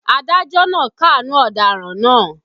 Adájọ́ náà káàánú ọ̀daràn náà